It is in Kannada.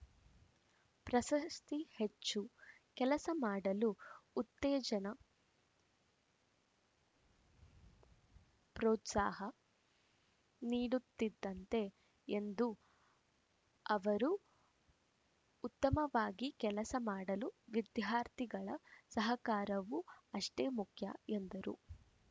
ಪ್ರಶಸ್ತಿ ಹೆಚ್ಚು ಕೆಲಸ ಮಾಡಲು ಉತ್ತೇಜನ ಪ್ರೋತ್ಸಾಹ ನೀಡುತ್ತಿದ್ದಂತೆ ಎಂದು ಅವರು ಉತ್ತಮವಾಗಿ ಕೆಲಸ ಮಾಡಲು ವಿದ್ಯಾರ್ಥಿಗಳ ಸಹಕಾರವೂ ಅಷ್ಟೆ ಮುಖ್ಯ ಎಂದರು